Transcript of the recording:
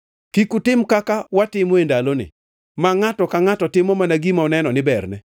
Kik utim kaka watimo e ndaloni, ma ngʼato ka ngʼato timo mana gima oneno ni berne,